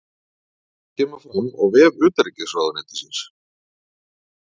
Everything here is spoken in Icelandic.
Þetta kemur fram á vef utanríkisráðuneytisins